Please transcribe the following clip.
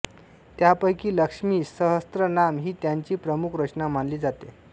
त्यापैकी लक्ष्मी सहस्रनाम ही त्यांची प्रमुख रचना मानली जाते